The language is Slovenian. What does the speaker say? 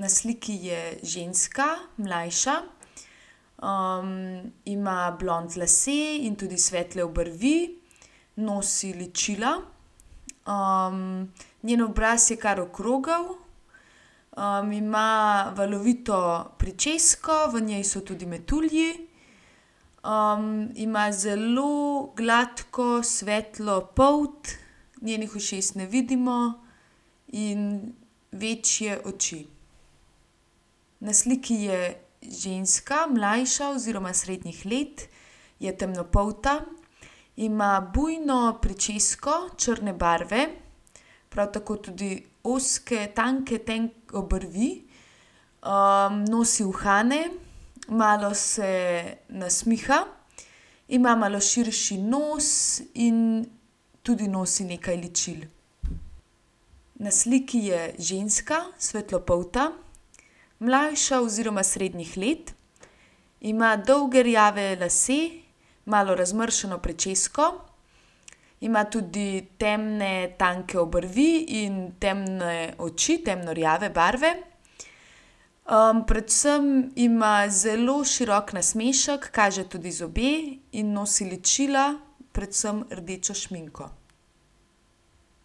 Na sliki je ženska, mlajša, ima blond lase in tudi svetle obrvi. Nosi ličila. njen obraz je kar okrogel, ima valovito pričesko, v njej so tudi metulji. ima zelo gladko svetlo polt, njenih ušes ne vidimo, in večje oči. Na sliki je ženska, mlajša oziroma srednjih let. Je temnopolta. Ima bujno pričesko črne barve, prav tako tudi ozke tanke, obrvi. nosi uhane, malo se nasmiha. Ima malo širši nos in tudi nosi nekaj ličil. Na sliki je ženska, svetlopolta, mlajša oziroma srednjih let. Ima dolge rjave lase, malo razmršeno pričesko. Ima tudi temne tanke obrvi in temne oči, temno rjave barve. predvsem ima zelo širok nasmešek, kaže tudi zobe in nosi ličila, predvsem rdečo šminko.